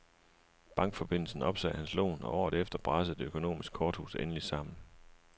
Bankforbindelsen opsagde hans lån, og året efter brasede det økonomiske korthus endeligt sammen.